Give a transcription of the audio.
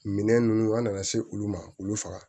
Minɛn ninnu an nana se olu ma olu faga